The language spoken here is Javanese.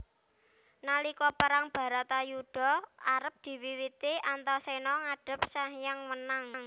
Nalika Perang Baratayudha arep diwiwiti Antaséna ngadhep Sanghyang Wenang